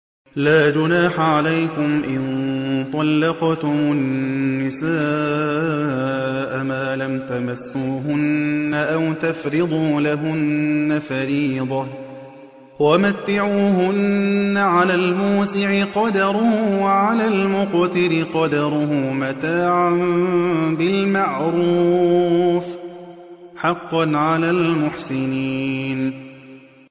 لَّا جُنَاحَ عَلَيْكُمْ إِن طَلَّقْتُمُ النِّسَاءَ مَا لَمْ تَمَسُّوهُنَّ أَوْ تَفْرِضُوا لَهُنَّ فَرِيضَةً ۚ وَمَتِّعُوهُنَّ عَلَى الْمُوسِعِ قَدَرُهُ وَعَلَى الْمُقْتِرِ قَدَرُهُ مَتَاعًا بِالْمَعْرُوفِ ۖ حَقًّا عَلَى الْمُحْسِنِينَ